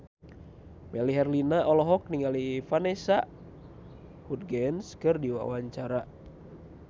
Melly Herlina olohok ningali Vanessa Hudgens keur diwawancara